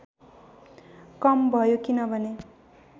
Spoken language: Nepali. कम भयो किनभने